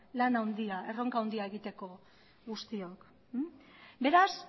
erronka handia egiteko guztiok beraz